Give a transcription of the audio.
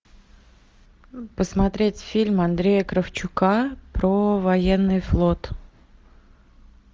посмотреть фильм андрея кравчука про военный флот